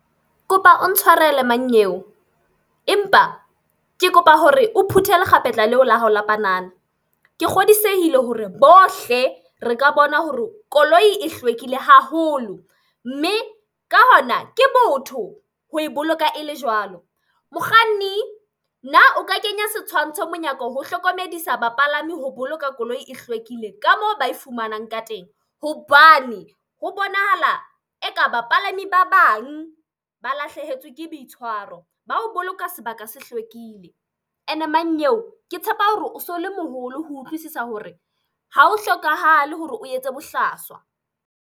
Ke kopa o ntshwarele mannyeo. Empa ke kopa hore o phuthe lekgapetla leo la hao la panana. Ke kgodisehe hore bohle re ka bona hore koloi e hlwekile haholo. Mme ka hona ke botho ho e boloka e le jwalo. Mokganni na o ka kenya setshwantsho monyako ho hlokomedisa bapalami ho boloka koloi e hlwekile ka moo ba e fumanang ka teng? Hobane ho bonahala e ka ba palami ba bang ba lahlehetswe ke boitshwaro ba ho boloka sebaka se hlwekile. E ne mannyeo ke tshepa hore o so le moholo ho utlwisisa hore ha ho hlokahale hore o etse bohlaswa.